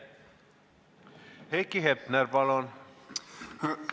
Heiki Hepner, palun!